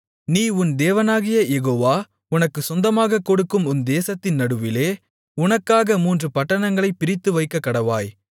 நீ உன் தேவனாகிய யெகோவா உனக்குச் சொந்தமாகக் கொடுக்கும் உன் தேசத்தின் நடுவிலே உனக்காக மூன்று பட்டணங்களைப் பிரித்துவைக்கக்கடவாய்